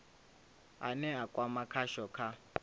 ane a kwama khasho kha